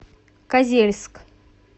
козельск